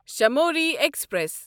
شموری express